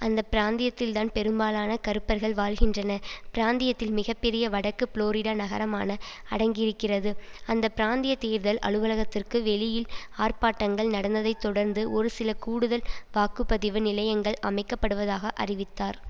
அந்த பிராந்தியத்தில்தான் பெரும்பாலான கருப்பர்கள் வாழ்கின்றனர பிராந்தியத்தில் மிக பெரிய வடக்கு புளோரிடா நகரமான அடங்கியிருக்கிறது அந்த பிராந்திய தேர்தல் அலுவலகத்திற்கு வெளியில் ஆர்பாட்டங்கள் நடந்ததை தொடர்ந்து ஒரு சில கூடுதல் வாக்கு பதிவு நிலையங்கள் அமைக்க படுவதாக அறிவித்தார்